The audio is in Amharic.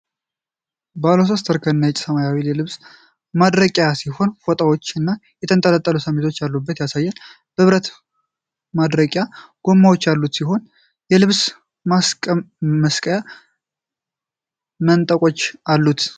ባለሶስት እርከን ነጭ እና ሰማያዊ የልብስ ማድረቂያ ሲሆን፣ ፎጣዎች እና የተንጠለጠሉ ሸሚዞች ያሉበት ያሳያል። የብረት ማድረቂያው ጎማዎች ያሉት ሲሆን የልብስ መስቀያ መንጠቆችም አሉት?